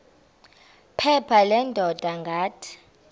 phepha leendaba ngathi